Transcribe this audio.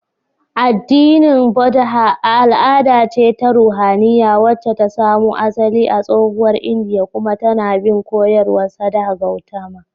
Addinin Buddha al'ada ce ta ruhaniya wacce ta samo asali a tsohuwar Indiya kuma tAna bin koyarwar Siddhartha Gautama